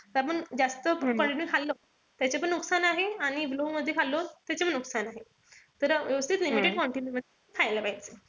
त आपण जास्त quantity खाल्लं त्याच्याने पण नुकसान आहे. आणि low मध्ये खाल्लं त्याचपण नुकसान आहे. तर व्यवस्थित quantity मध्ये खायला पाहिजे.